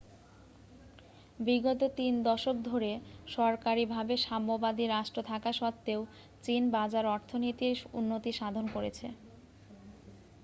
বিগত তিন দশক ধরে সরকারীভাবে সাম্যবাদী রাষ্ট্র থাকা সত্ত্বেও চীন বাজার অর্থনীতির উন্নতি সাধন করেছে